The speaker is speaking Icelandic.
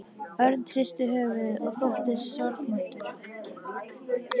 Örn hristi höfuðið og þóttist sorgmæddur.